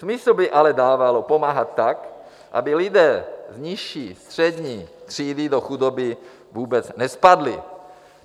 Smysl by ale dávalo pomáhat tak, aby lidé z nižší střední třídy do chudoby vůbec nespadli.